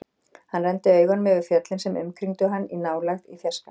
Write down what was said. Hann renndi augunum yfir fjöllin sem umkringdu hann, í nálægð, í fjarska.